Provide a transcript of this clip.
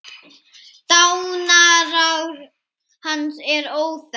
Dánarár hans er óþekkt.